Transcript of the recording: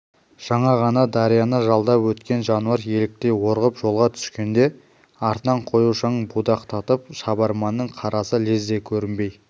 жаңа ғана дарияны жалдап өткен жануар еліктей орғып жолға түскенде артынан қою шаң будақтатып шабарманның қарасы лезде көрінбей